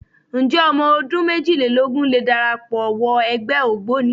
Ǹjẹ́ ọmọ ọdún méjìlélógún lè darapọ̀ wọ ẹgbẹ́ Ògboni?